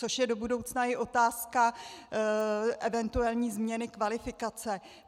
Což je do budoucna i otázka eventuální změny kvalifikace.